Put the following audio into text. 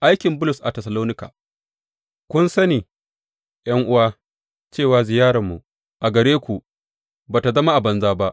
Aikin Bulus a Tessalonika Kun sani, ’yan’uwa, cewa ziyararmu a gare ku ba tă zama a banza ba.